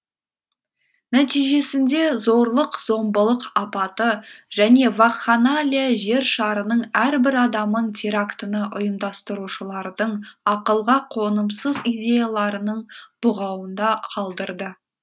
нәтижесінде зорлық зомбылық апаты және вакханалия жер шарының әрбір адамын терактіні ұйымдастырушылардың ақылға қонымсыз идеяларының бұғауында қалдырды